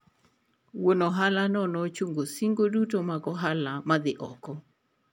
Wuon ohalano ne ochungo singo duto mag ohala madhi oko.